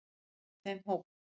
Ég er í þeim hóp.